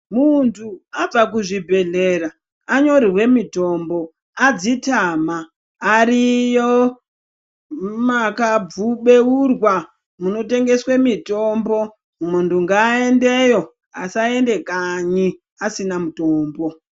Muntu abva kuzvibhedhlera anyorere mitombo adzitama. Ariyo makabeurwa munotengese mitombo muntu ngaendeyo asaende kanyi asina mutombo.